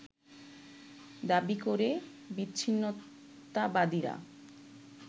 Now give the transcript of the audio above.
দাবী করে বিচ্ছিন্নতাবাদীরা